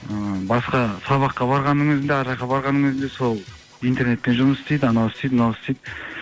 ыыы басқа сабаққа барғанның өзін де ана жаққа барғанның өзін де сол интернетпен жұмыс істейді анау істейді мынау істейді